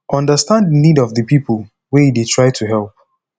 understand di need of di person wey you dey try to help